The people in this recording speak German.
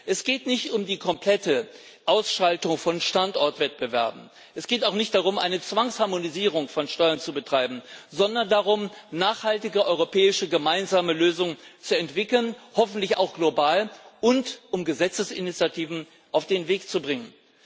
Es geht nicht um die komplette Ausschaltung von Standortwettbewerben, es geht auch nicht darum, eine Zwangsharmonisierung von Steuern zu betreiben, sondern darum, nachhaltige europäische gemeinsame Lösungen zu entwickeln, hoffentlich auch global, und darum, Gesetzesinitiativen auf den Weg zu bringen.